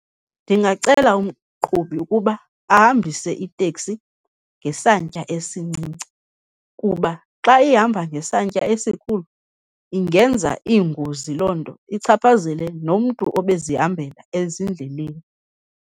Ndingacela umqhubi ukuba ahambise iteksi ngesantya esincinci kuba xa ihamba ngesantya esikhulu, ingenza iingozi loo nto ichaphazele nomntu obezihambela ezindleleni.